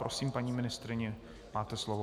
Prosím, paní ministryně, máte slovo.